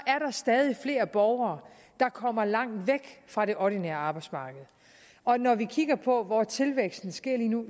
er stadig flere borgere der kommer langt væk fra det ordinære arbejdsmarked og når vi kigger på hvor tilvæksten sker lige nu